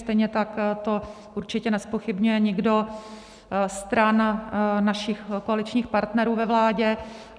Stejně tak to určitě nezpochybňuje nikdo stran našich koaličních partnerů ve vládě.